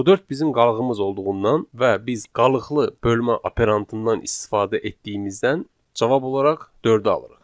Bu dörd bizim qalığımız olduğundan və biz qalıqlı bölmə operantından istifadə etdiyimizdən cavab olaraq dördü alırıq.